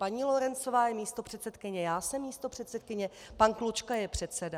Paní Lorencová je místopředsedkyně, já jsem místopředsedkyně, pan Klučka je předseda.